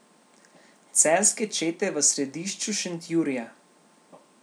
Celjske čete v središču Šentjurja.